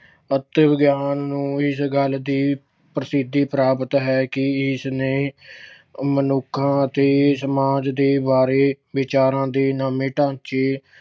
ਆਤਮ ਗਿਆਨ ਨੂੰ ਇਸ ਗੱਲ ਦੀ ਪ੍ਰਸਿੱਧੀ ਪ੍ਰਾਪਤ ਹੈ ਕਿ ਇਸਨੇ ਮਨੁੱਖਾਂ ਅਤੇ ਸਮਾਜ ਦੇ ਬਾਰੇ ਵਿਚਾਰਾਂ ਦੇ ਨਵੇਂ ਢਾਂਚੇ